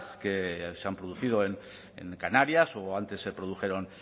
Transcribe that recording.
que se han producido en canarias o antes se produjeron